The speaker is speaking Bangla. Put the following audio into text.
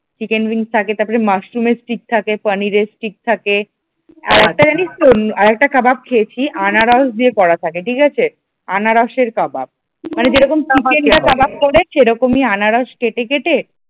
চিকেন থাকে তারপরে মাশরুমের স্টিক থাকে পনিরের স্টিক থাকে আর একটা জানিসতো আর একটা কাবাব খেয়েছি আনারস দিয়ে করা থাকে ঠিক আছে আনারসের কাবাব যেরকম চিকেন এর কাবাব করে সেই রকমই আনারস কেটে কেটে